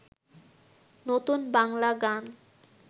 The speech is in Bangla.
নতুন বাংলা গান